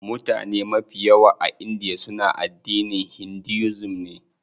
Mutane mafi yawa a india suna addinin Hinduism ne.